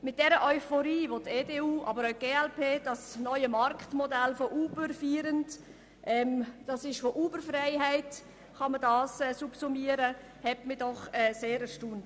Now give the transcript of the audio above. Die Euphorie der EDU und der glp über das neue Marktmodell von Uber, das man unter Uber-Freiheit subsumieren kann, hat mich doch sehr erstaunt.